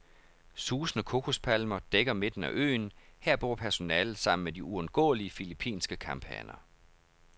Susende kokospalmer dækker midten af øen, her bor personalet sammen med de uundgåelige filippinske kamphaner.